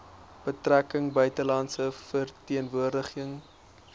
betrekkinge buitelandse verteenwoordiging